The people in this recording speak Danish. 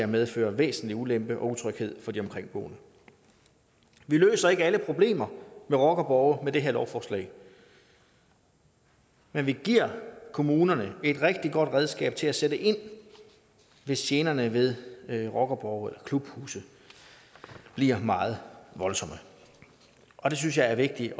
medfører væsentlig ulempe og utryghed for de omkringboende vi løser ikke alle problemer med rockerborge med det her lovforslag men vi giver kommunerne et rigtig godt redskab til at sætte ind hvis generne ved ved rockerborge og klubhuse bliver meget voldsomme og det synes jeg er vigtigt